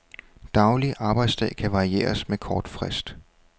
Daglig arbejdsdag kan varieres med kort frist.